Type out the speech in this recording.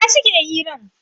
A ina suke hirar?